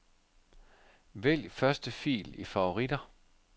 Vælg første fil i favoritter.